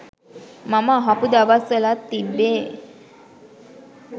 මම අහපු දවස් වලත් තිබ්බේ